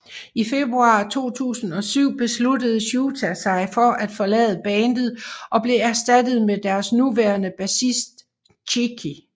I februar 2007 besluttede Shouta sig for at forlade bandet og blev erstattet med deres nuværende bassist Chiyu